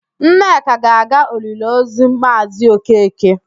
Nneka ga-aga oliliozu Maazị Okeke.